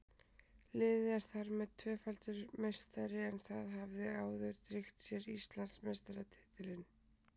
Liðið er þar með tvöfaldur meistari en það hafði áður tryggt sér Íslandsmeistaratitilinn.